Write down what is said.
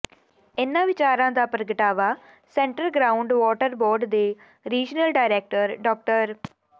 ਇਨ੍ਹਾਂ ਵਿਚਾਰਾਂ ਦਾ ਪ੍ਰਗਟਾਵਾ ਸੈਂਟਰ ਗਰਾਊਂਡ ਵਾਟਰ ਬੋਰਡ ਦੇ ਰੀਜਨਲ ਡਾਇਰੈਕਟਰ ਡਾ